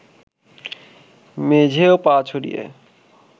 মেঝেয় পা ছড়িয়ে